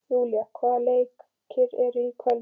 Júlíana, hvaða leikir eru í kvöld?